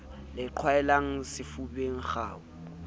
le e qhwaelwang sefubeng kgau